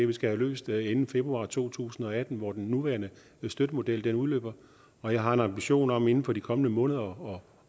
vi skal have løst inden februar to tusind og atten hvor den nuværende støttemodel udløber og jeg har en ambition om inden for de kommende måneder